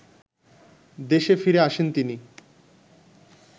দেশে ফিরে আসেন তিনি